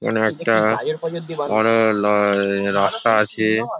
ওখানে একটা বড় লায় রাস্তা আছে ।